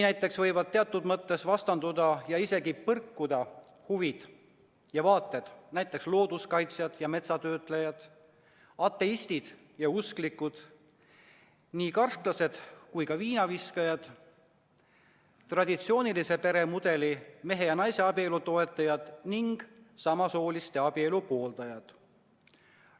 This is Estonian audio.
Näiteks võivad teatud mõttes vastanduda ja isegi põrkuda huvid ja vaated looduskaitsjatel ja metsatöötlejatel, ateistidel ja usklikel, karsklastel ja viinaviskajatel, traditsioonilise peremudeli ehk mehe ja naise abielu toetajatel ning samasooliste abielu pooldajatel.